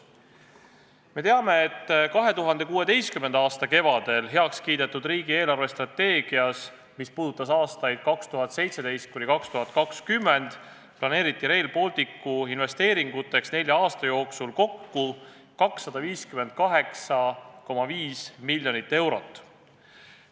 Me teame, et 2016. aasta kevadel heaks kiidetud riigi eelarvestrateegias, mis puudutas aastaid 2017–2020, planeeriti Rail Balticu investeeringuteks nelja aasta kohta kokku 258,5 miljonit eurot.